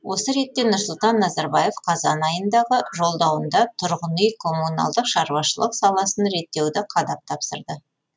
осы ретте нұрсұлтан назарбаев қазан айындағы жолдауында тұрғын үй коммуналдық шаруашылық саласын реттеуді қадап тапсырды